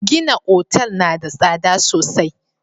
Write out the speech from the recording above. Gina otal na da tsada sosai.